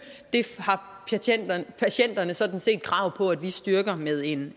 det har patienterne sådan set krav på at vi styrker med en